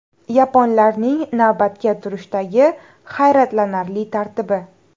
Yaponlarning navbatga turishdagi hayratlanarli tartibi.